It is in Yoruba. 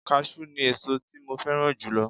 Káṣú ni ẹ̀so tí mo fẹ́ràn jùlọ